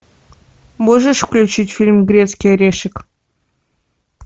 можешь включить фильм грецкий орешек